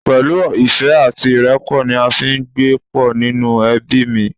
Pẹ̀lú ìfẹ́ àti ìrẹ́pọ̀ ni a fi ń gbé pọ̀ nínú ẹbí mi